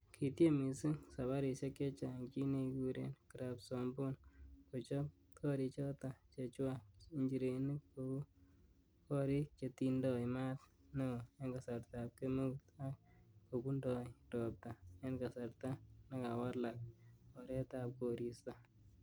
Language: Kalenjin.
Kitiem missing sabarisiek chechang chi nekekuren Krabsomboon, kochob gorichoton chechwak-Injirenik kou gorik chetindoi maat neo en kasartab kemeut ak kobundoi ropta en kasarta nekawalak oretab koristo.